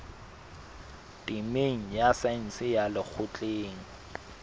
temeng ya saense ya lekgotleng